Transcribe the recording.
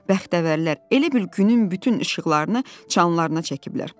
Bəxtəvərlər elə bil günün bütün işıqlarını çalanna çəkiblər.